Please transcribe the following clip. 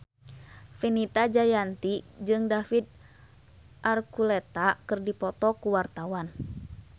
Fenita Jayanti jeung David Archuletta keur dipoto ku wartawan